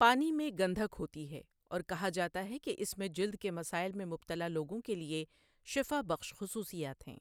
پانی میں گندھک ہوتی ہے اور کہا جاتا ہے کہ اس میں جلد کے مسائل میں مبتلا لوگوں کے لیے شفا بخش خصوصیات ہیں۔